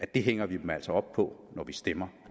del hænger vi dem altså op på når vi stemmer